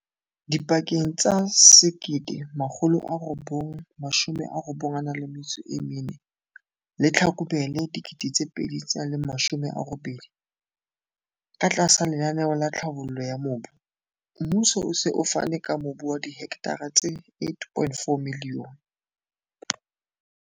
Dipakeng tsa 1994 le Tlhlakubele 2018, katlasa lenaneo la tlhabollo ya mobu, mmuso o se o fane ka mobu wa dihekthara tse 8,4 milione